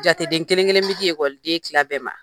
Jateden kelen kelen bɛ di den tila bɛɛ ma.